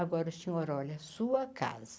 Agora o senhor olhe a sua casa.